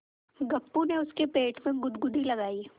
गप्पू ने उसके पेट में गुदगुदी लगायी